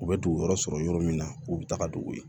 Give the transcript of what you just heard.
U bɛ dugu yɔrɔ sɔrɔ yɔrɔ min na k'u bɛ taga dugu ye